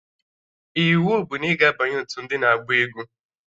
Iwu bụ na ị ga-abanye otu ndị na-agba egwu!